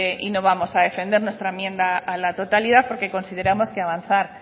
y no vamos a defender nuestra enmienda a la totalidad porque consideramos que avanzar